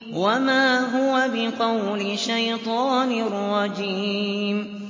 وَمَا هُوَ بِقَوْلِ شَيْطَانٍ رَّجِيمٍ